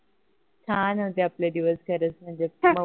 छान होते आपले दिवस म्हणजे मऊ